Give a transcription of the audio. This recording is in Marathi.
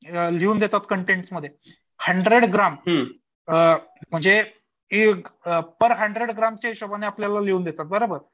अ लिहून देतात कंटेनमध्ये हंड्रेड ग्राम अ म्हणजे एक हंड्रेड ग्रॅमच्या हिशोबाने आपल्याला लिहून देतात आपल्याला बराबर.